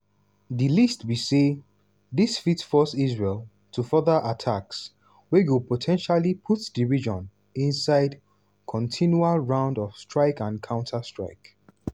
di least be say dis fit force israel to further attacks wey go po ten tially put di region inside continual round of strike and counter-strike.